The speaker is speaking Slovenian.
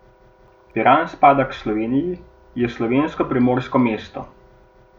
Piran spada k Sloveniji, je slovensko primorsko mesto!